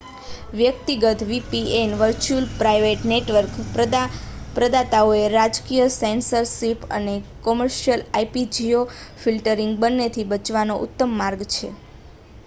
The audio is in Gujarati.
વ્યક્તિગત વીપીએન વર્ચ્યુઅલ પ્રાઇવેટ નેટવર્ક પ્રદાતાઓ રાજકીય સેન્સરશિપ અને કોમર્શિયલ આઇપી-જિયોફિલ્ટરિંગ બંનેથી બચવાના ઉત્તમ માર્ગ છે